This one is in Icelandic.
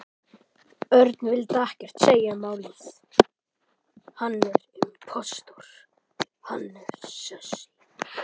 Örn vildi ekkert segja um málið.